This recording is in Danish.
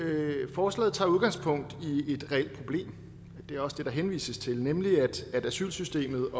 forslaget tager udgangspunkt i et reelt problem og det er også det der henvises til nemlig at asylsystemet